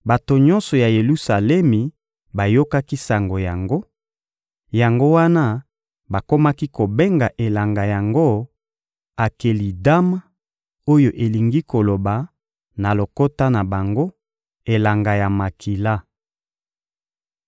Bato nyonso ya Yelusalemi bayokaki sango yango; yango wana bakomaki kobenga elanga yango «Akelidama» oyo elingi koloba, na lokota na bango: Elanga ya makila.